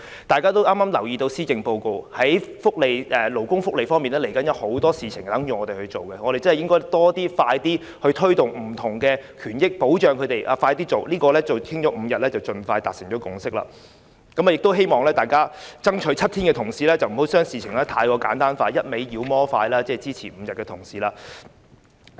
大家也留意到剛發表的施政報告，在勞工福利方面，未來會有很多事情等待我們處理，我們應快一點推動更多不同的權益保障，這個5天侍產假的討論應盡快達成共識，亦希望爭取7天的同事不要把事情過於簡單化，以及不斷"妖魔化"支持5天的同事。